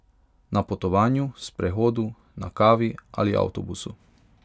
Na potovanju, sprehodu, na kavi ali avtobusu!